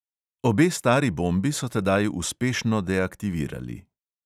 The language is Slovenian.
Obe stari bombi so tedaj uspešno deaktivirali.